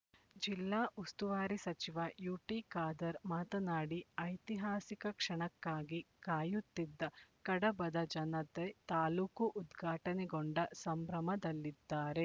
ಜಿಲ್ಲಾ ಉಸ್ತುವಾರಿ ಸಚಿವ ಯುಟಿಖಾದರ್ ಮಾತನಾಡಿ ಐತಿಹಾಸಿಕ ಕ್ಷಣಕ್ಕಾಗಿ ಕಾಯುತ್ತಿದ್ದ ಕಡಬದ ಜನತೆ ತಾಲೂಕು ಉದ್ಘಾಟನೆಗೊಂಡ ಸಂಭ್ರಮ ದಲ್ಲಿದ್ದಾರೆ